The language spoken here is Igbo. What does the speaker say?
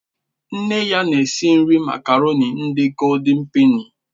Nne ya na-esi nri makaroni ndị Goóldin pèni